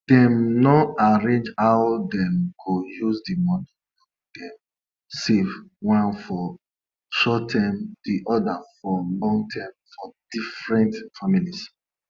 we no dey mix our local fowl with oyibo fowl um wey dey grow quick quick make oyibo and local fowl no sleep um with each um other.